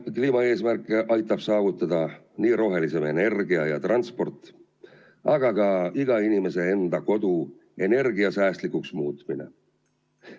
Kliimaeesmärke aitab saavutada nii rohelisem energia ja transport kui ka iga inimese enda kodu energiasäästlikuks muutmine.